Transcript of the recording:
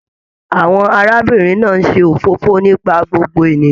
Àwọn arábìnrin náà n ṣe òfófó nípa gbogbo ènìyàn.